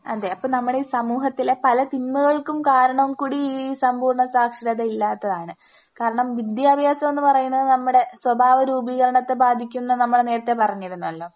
അതെ അപ്പോ നമ്മുടെ ഈ സമൂഹത്തിലെ പല തിന്മകൾക്കും കാരണം കൂടി ഈ സമ്പൂർണ സാക്ഷരത ഇല്ലാത്തതാണ്. കാരണം വിദ്യാഭ്യാസമെന്ന് പറയുന്നത് നമ്മുടെ സ്വഭാവ രൂപീകരണത്തെ ബാധിക്കുംന്ന് നമ്മൾ നേരത്തെ പറഞ്ഞിരുന്നല്ലോ?